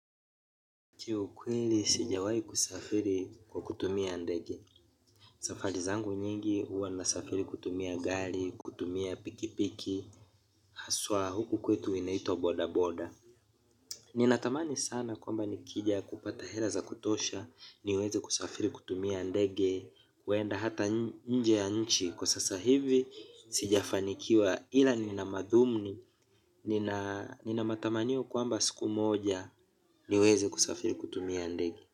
Kiukweli sijawahi kusafiri kwa kutumia ndege. Safari zangu nyingi huwa nasafiri kutumia gari, kutumia pikipiki, haswa huku kwetu inaitwa boda boda. Ninatamani sana kwamba nikija kupata hela za kutosha, niweze kusafiri kutumia ndege, huenda hata nje ya nchi, kwa sasa hivi sijafanikiwa ila ninamadhumni, ninamatamanio kwamba siku moja, niweze kusafiri kutumia ndege.